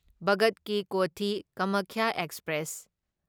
ꯚꯒꯠ ꯀꯤ ꯀꯣꯊꯤ ꯀꯥꯃꯥꯈ꯭ꯌꯥ ꯑꯦꯛꯁꯄ꯭ꯔꯦꯁ